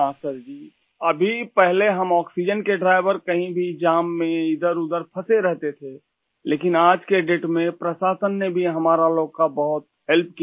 हाँ सर जी अभी पहले हम आक्सीजेन के ड्राइवर कहीं भी जाम में इधरउधर फसें रहते थे लेकिन आज के डेट में प्रशासन ने भी हमारा लोग का बहुत हेल्प किया